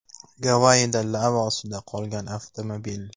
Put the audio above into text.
Gavayida lava ostida qolgan avtomobil.